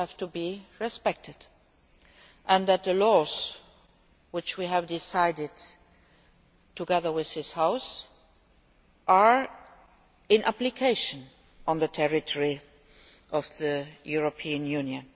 be respected, and that the laws which we have decided together with this House have to be applied on the territory of the European Union.